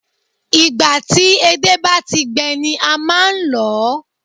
Ìgbà ti edé bá ti gbẹ ni a máa n lòó